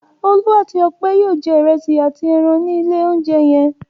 Olú àti Ọpẹ́ yóò jẹ ìrẹsì àti ẹran ní ilé-oúnjẹ yẹn.